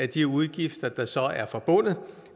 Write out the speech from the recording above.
de udgifter der så er forbundet